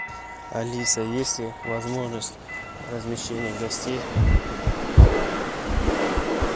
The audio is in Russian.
алиса есть ли возможность размещения гостей